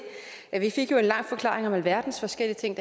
det vi fik jo en lang forklaring om alverdens forskellige ting